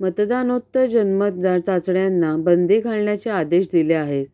मतदानोत्तर जनमत चाचण्यांना बंदी घालण्याचे आदेश दिले आहेत